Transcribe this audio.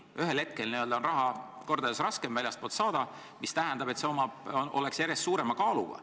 Ühel hetkel on väljastpoolt raha saada kordades raskem, mis tähendab, et see on järjest suurema kaaluga.